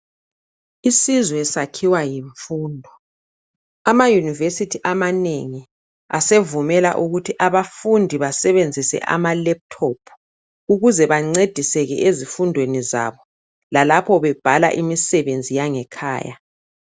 Isizwe sakhiwa yimfundo. Ama yunivesithi amanengi asevumela ukuthi abafundi basebenzise ama laptop ukuze bancediseke ezifundweni zabo lalapho bebhala imisebenzi yangekhaya.